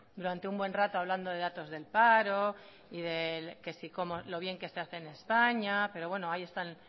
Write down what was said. durante mucho rato hablando de datos del paro y de lo bien que se hace en españa pero bueno hay están